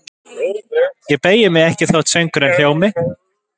Ég beygi mig ekki þótt söngurinn hljómi